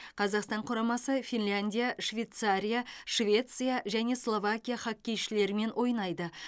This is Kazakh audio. қазақстан құрамасы финляндия швейцария швеция және словакия хоккейшілерімен ойнайды